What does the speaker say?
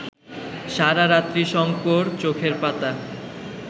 সারারাত্রি শঙ্কর চোখের পাতা